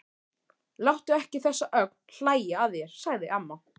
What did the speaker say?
Láttu ekki þessa ögn hlæja að þér, sagði amma.